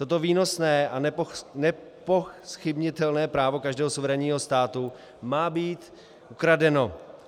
Toto výsostné a nezpochybnitelné právo každého suverénního státu má být ukradeno.